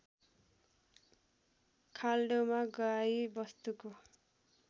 खाल्डोमा गाई वस्तुको